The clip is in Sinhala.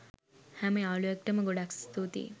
හැම යාලුවෙක්ට ම ගොඩක් ස්තුතියි